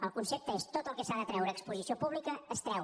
el concepte és tot el que s’ha de treure a exposició pública s’hi treu